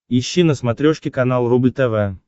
ищи на смотрешке канал рубль тв